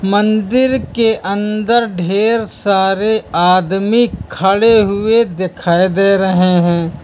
मंदिर के अंदर ढेर सारे आदमी खड़े हुए दिखाई दे रहे हैं।